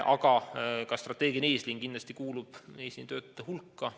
Aga ka strateegiline eesliin kuulub kindlasti eesliinitöötajate hulka.